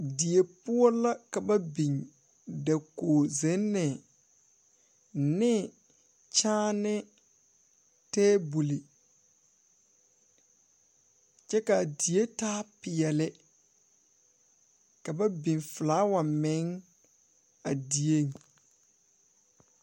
Die poɔ la ka biŋ dakoge zenne ne kyaane tabol kyɛ kaa die taa peɛɛli ka ba biŋ flaawa meŋ a dieŋ.